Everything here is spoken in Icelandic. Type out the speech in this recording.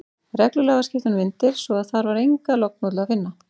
Reglulega var skipt um myndir, svo að þar var enga lognmollu að finna.